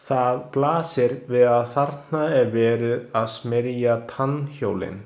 Það blasir við að þarna er verið að smyrja tannhjólin.